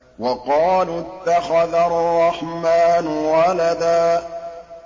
وَقَالُوا اتَّخَذَ الرَّحْمَٰنُ وَلَدًا